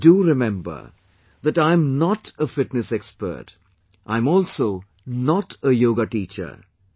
But do remember, that I am not a fitness expert, I am also not a yoga teacher